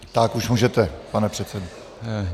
Tak už můžete, pane předsedo.